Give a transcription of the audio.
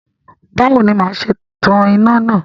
Báwo ni màá ṣe tan iná náà?